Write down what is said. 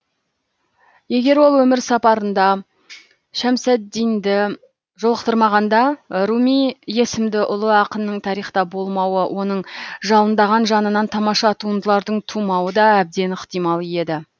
егер ол өмір сапарында шәмсаддинді жолықтырмағанда руми есімді ұлы ақынның тарихта болмауы оның жалындаған жанынан тамаша туындылардың тумауы да әбден ықтимал еді